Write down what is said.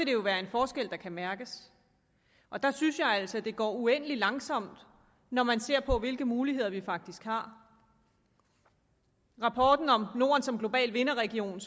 det jo være en forskel der kan mærkes jeg synes altså at det her går uendelig langsomt når man ser på hvilke muligheder vi faktisk har rapporten om norden som global vinderregion